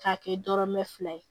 K'a kɛ dɔrɔmɛ fila ye